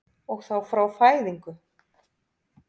Og þá frá fæðingu?